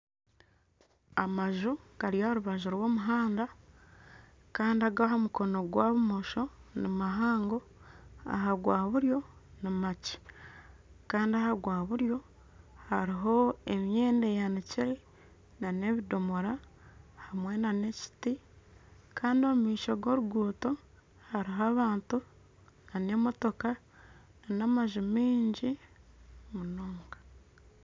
Amaju gari aharubaju rwomuhanda Kandi agahamukono gwa bumosho nimahango ahagaaburyo nimakye Kandi ahagwaburyo hariho emyenda eyanikire nana ebidomora nana ekiti Kandi omumaisho ga oruguuto hariho nana abantu nana emotoka nana amaju maingi munonga